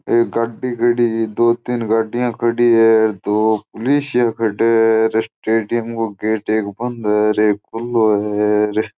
एक गड्डी खड़ी है दो तीन गाड़ी खड़ी है दो पुलिस खड्डे है स्टेडियम को एक गेट बंद है एक खुलो है।